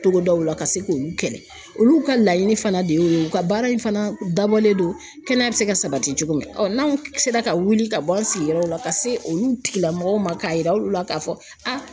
Togodawla, ka se k'olu kɛlɛ, olu ka laɲini fana de ye, o ye u ka baara in fana dabɔlen don kɛnɛya bɛ se ka sabati cogo min , ɔ n'anw sera ka wuli ka bɔ an sigiyɔrɔ la ka se olu tigilamɔgɔw ma k'a yira olu la k'a fɔ a